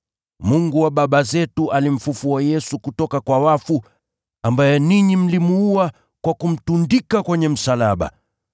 Mungu wa baba zetu alimfufua Yesu kutoka kwa wafu, ambaye ninyi mlimuua kwa kumtundika kwenye msalaba.